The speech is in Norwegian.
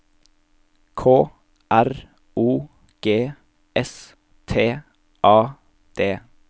K R O G S T A D